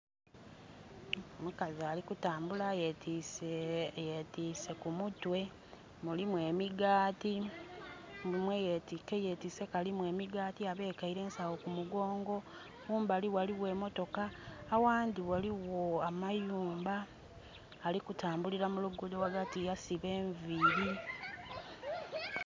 Omukazi ali kutambula yetiise...yetiise ku mutwe. Mulimu emigaati, mule mwe yetiise kalimu emigaati, abekeile ensawo ku mugongo. Kumbali ghaligho emmotoka, aghandhi ghaligho amayumba. Ali kutambulila mu lugudho ghagati yasiba enviri.